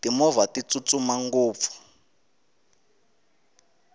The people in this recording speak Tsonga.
timovha ti tsutsuma ngopfu